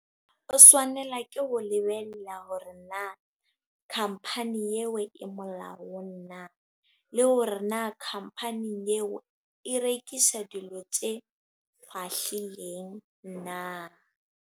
O swanela ke ho lebella hore na company eo e molao o na. Le hore na company eo e rekisa dilo tse shahlileng na.